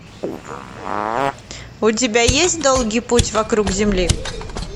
у тебя есть долгий путь вокруг земли